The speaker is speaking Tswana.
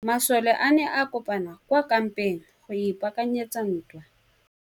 Masole a ne a kopane kwa kampeng go ipaakanyetsa ntwa.